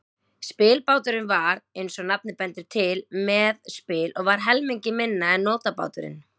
Spilbáturinn var, eins og nafnið bendir til, með spil og var helmingi minni en nótabáturinn.